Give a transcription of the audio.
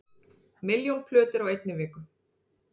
Milljón plötur á einni viku